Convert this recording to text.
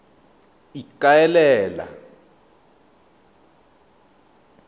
ikaelele